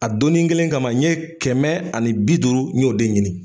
A donni kelen kama n ye kɛmɛ ani bi duuru n y'o de ɲini.